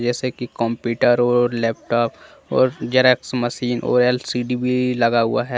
जैसे कि कंप्यूटर और लैपटॉप और जेरॉक्स मशीन और एल_सी_डी भी लगा हुआ है।